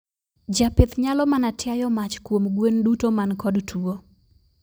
Japith nyalo mana tiayo mach kuom gwen duto man kod tuo.